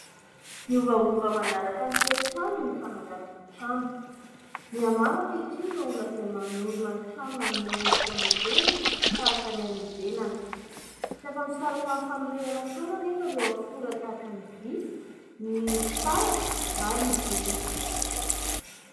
Miovaova manaraka ny toetrandro ny fananganana trano. Mihamaro ankehitriny ireo olona izay manorina ny trano, manome endrika modely tahaka ny any ivelany. Tsy afa-misaraka amin'ny fanorenana trano anefa ireo akora tahaka ny vy, ny fitaratra, ary ny biriky.